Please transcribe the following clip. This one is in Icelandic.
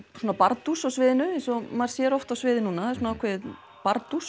bardús á sviðinu eins og maður sér oft á sviði núna það er svona ákveðið